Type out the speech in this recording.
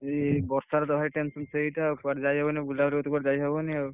ଇଏ ବର୍ଷା ର ଭାରି tension ସେଇଟା କୁଆଡେ ଯାଇହବନି ବୁଲା ବୁଲି କରି କୁଆଡେ ଯାଇହବନି ଆଉ।